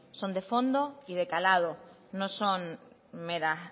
son de fondo y de calado no son meras